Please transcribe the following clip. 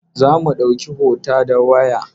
Za mu ɗauki hota da waya.